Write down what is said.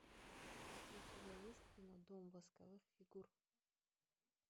у тебя есть кино дом восковых фигур